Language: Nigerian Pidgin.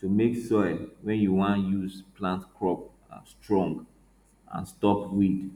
to make soil wey you wan use plant crop um strong and stop weed